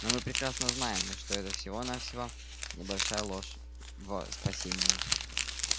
но мы прекрасно знаем что это всего-навсего небольшая ложь во спасение